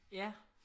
Ja